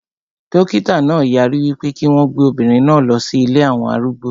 Dókítà náà yarí wípé kí wọn gbé obìnrin náà lọ sí ilée àwọn arúgbó